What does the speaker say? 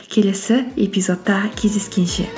келесі эпизодта кездескенше